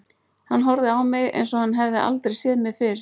Hann horfði á mig, eins og hann hefði aldrei séð mig fyrr.